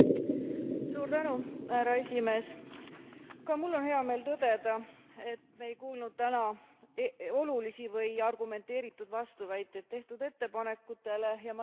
Ka mul on hea meel tõdeda, et me ei kuulnud täna olulisi või argumenteeritud vastuväiteid tehtud ettepanekutele, ja ma loodan, et me liigume nendega kiiresti edasi.